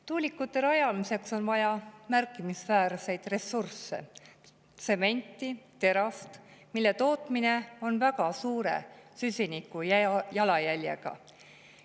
Tuulikute rajamiseks on vaja märkimisväärseid ressursse, näiteks tsementi, terast, mille tootmine on väga suure süsinikujalajäljega.